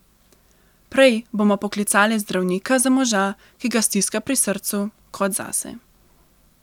Prej bomo poklicale zdravnika za moža, ki ga stiska pri srcu, kot zase.